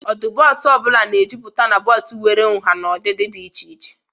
Ọdụ bọọsụ ọ bụla na-ejuputa na bọọsụ nwere nha na ụdị dị iche iche.